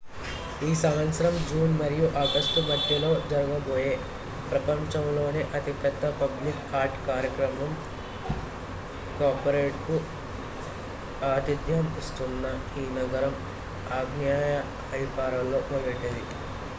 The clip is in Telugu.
ఈ సంవత్సరం జూన్ మరియు ఆగస్టు మధ్యలో జరగబోయే ప్రపంచంలోనే అతిపెద్ద పబ్లిక్ ఆర్ట్ కార్యక్రమం కౌపరేడ్ కు ఆతిథ్యం ఇస్తున్న ఈ నగరం ఆగ్నేయ ఐరోపాలో మొదటిది